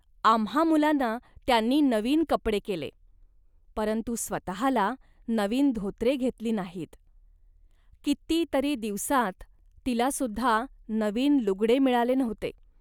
आम्हां मुलांना त्यांनी नवीन कपडे केले, परंतु स्वतःला नवीन धोतरे घेतली नाहीत. किती तरी दिवसांत तिला सुद्धा नवीन लुगडे मिळाले नव्हते